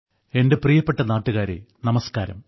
എന്റെ പ്രിയപ്പെട്ട നാട്ടുകാരെ നമസ്ക്കാരം